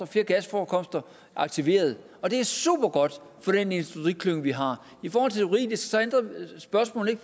flere gasforekomster aktiveret det er supergodt for den industriklynge vi har i forhold til spørgsmålet